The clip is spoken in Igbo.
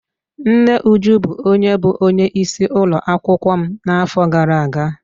Nne Uju bụ onye bụ onye isi ụlọakwụkwọ m n'afọ gara aga.